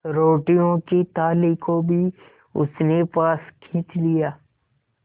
रोटियों की थाली को भी उसने पास खींच लिया